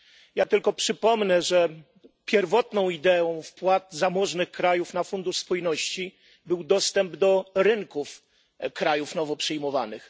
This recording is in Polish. Ja tylko przypomnę, że pierwotną ideą wpłat zamożnych krajów na Fundusz Spójności był dostęp do rynków krajów nowo przyjmowanych.